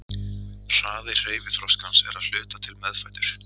Hraði hreyfiþroskans er að hluta til meðfæddur.